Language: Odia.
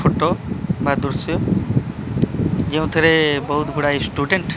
ଫୋଟୋ ବା ଦୃଶ୍ୟ ଯେଉଁ ଥିରେ ବହୁତ୍ ଗୁଡାଏ ଷ୍ଟୁଡେଣ୍ଟ୍ --